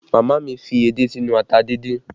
Màmá mi fi edé sínú ata díndín